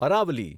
Aravalli